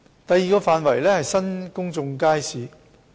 第二個範圍是新公眾街市。